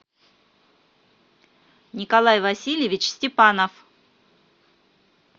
николай васильевич степанов